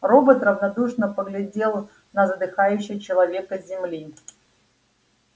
робот равнодушно поглядел на задыхающего человека с земли